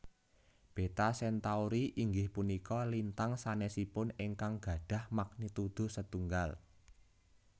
Beta Centauri inggih punika lintang sanesipun ingkang gadhah magnitudo setunggal